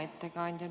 Hea ettekandja!